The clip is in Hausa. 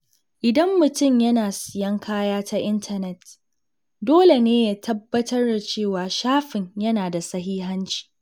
Idan mutum yana siyan kaya ta intanet, dole ne ya tabbatar da cewa shafin yana da sahihanci.